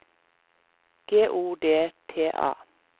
G O D T A